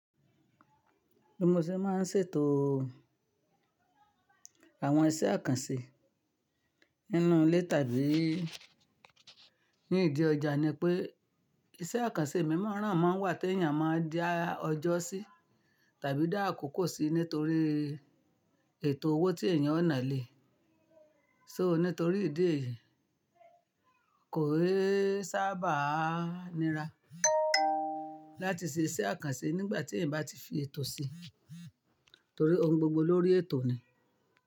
Bí mo ṣe máa ń ṣètòo àwọn iṣẹ́ àkànṣe nínú ilé tàbí ní ìdí ọjà ni pé iṣẹ́ àkànṣe mímọ́ran máa n wà t'èèyàn má n dá ọjọ́ sí tàbí dá àkókò sí nítorí ètò owó tí èèyàn ó nàá lé e. Só nítorí ìdí èyí kò é sábà nira láti ṣe iṣẹ́ àkànṣe nígbàtí èèyàn bá ti fi ètò sí, torí ohun gbogbo lórí ètò ni.